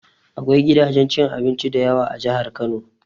Akwai gidajen cin abinci dayawa a Jahar Kano